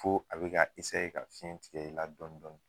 Ko a be ka ka fiɲɛ tigɛ i la dɔn dɔɔnin